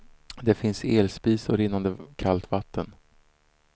Det finns elspis och rinnande kallt vatten.